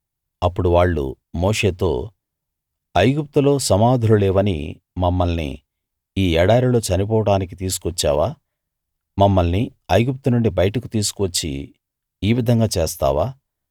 అప్పుడు వాళ్ళు మోషేతో ఐగుప్తులో సమాధులు లేవని మమ్మల్ని ఈ ఎడారిలో చనిపోవడానికి తీసుకొచ్చావా మమ్మల్ని ఐగుప్తు నుండి బయటికి తీసుకువచ్చి ఈ విధంగా చేస్తావా